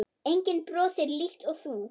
Enginn brosir líkt og þú.